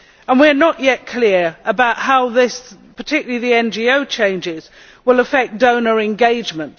We are not yet clear about how these changes, and particularly the NGO changes, will affect donor engagement.